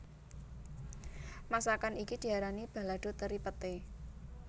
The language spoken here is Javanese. Masakan iki diarani balado teri Peté